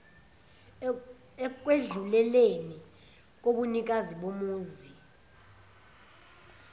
ekwedluleleni kobunikazi bomuzi